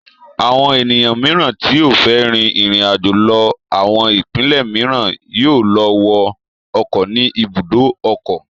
Àwọn ènìyàn mìíràn tí ó fẹ́ rin ìrìnàjò lọ àwọn ìpínlẹ̀ mìíràn yóò lọ wọ ọkọ̀ ní ibùdó ọkọ̀.